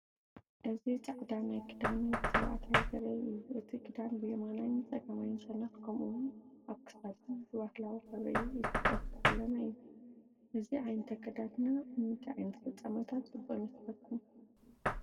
እዚ ጻዕዳ ክዳን ወዲ ተባዕታይ ዘርኢ እዩ። እቲ ክዳን ብየማናይን ጸጋማይን ሸነኽ፡ ከምኡ’ውን ኣብ ክሳዱን ብባህላዊ ሕብሪ ኢትዮጵያ ዝተሰለመ እዩ። እዚ ዓይነት ኣከዳድና ኣብ ምንታይ ዓይነት ፍጻመታት ጽቡቕ ይመስለኩም?